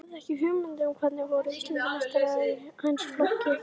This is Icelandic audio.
Hafði ekki hugmynd um hverjir voru Íslandsmeistarar í hans flokki.